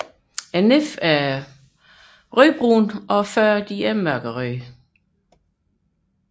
Næbbet er rødbrunt og fødderne mørkerøde